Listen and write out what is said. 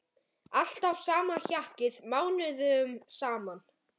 Alltaf sama hjakkið mánuðum saman!